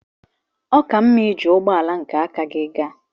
Ọ ka mma iji ụgbọ ala nke aka gị gaa.